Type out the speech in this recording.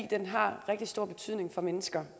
den har rigtig stor betydning for mennesker